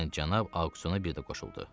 deyən cənab Auqsuno bir də qoşuldu.